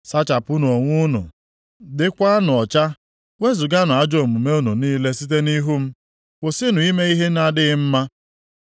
Sachapụnụ onwe unu, dịkwanụ ọcha. Wezuganụ ajọ omume unu niile site nʼihu m; kwụsịnụ ime ihe na-adịghị mma.